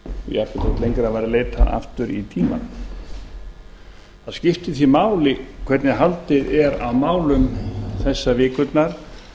þótt lengra væri leitað aftur í tímann það skiptir því máli hvernig haldið er á málum þessar vikurnar